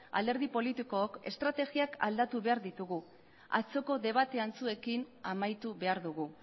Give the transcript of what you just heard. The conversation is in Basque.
alderdi politikook estrategiak aldatu behar ditugu atzoko debate antzuekin amaitu behar dugu